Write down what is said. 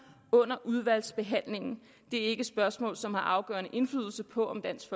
under udvalgsbehandlingen det er ikke spørgsmål som har afgørende indflydelse på om dansk